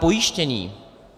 Pojištění.